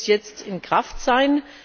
Es sollte bis jetzt in Kraft sein.